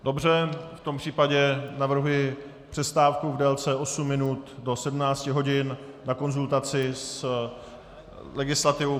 Dobře, v tom případě navrhuji přestávku v délce osmi minut do 17 hodin na konzultaci s legislativou.